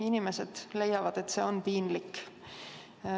Inimesed leiavad, et see on piinlik.